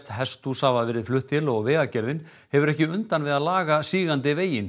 hesthús hafa verið flutt til og Vegagerðin hefur ekki undan við að laga sígandi veginn